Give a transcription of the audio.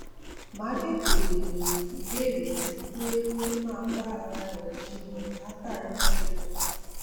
máa tètè béèrè ìbéèrè ju pé kó máa bá ara rè jiyàn látàárò ṣúlè